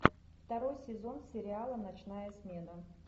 второй сезон сериала ночная смена